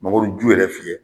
Mangoro ju yɛrɛ fiyɛ